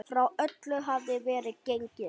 Frá öllu hafði verið gengið.